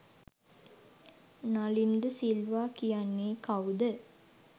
නලින් ද සිල්වා කියන්නේ කවුද